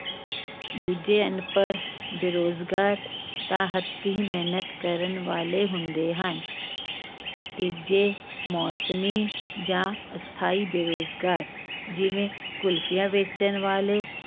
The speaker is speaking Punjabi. ਦੂਜੇ ਅਨਪੜ ਬੇਰੁਜ਼ਗਾਰ ਤਾਂ ਹੱਥੀਂ ਮਿਹਨਤ ਕਰਨ ਵਾਲੇ ਹੁੰਦੇ ਹਨ ਤੀਜੇ, ਮੌਸਮੀ ਜਾਂ ਅਸਥਾਈ ਬੇਰੁਜ਼ਗਾਰ ਜਿਵੇਂ ਕੁਲਫੀਆਂ ਵੇਚਣ ਵਾਲੇ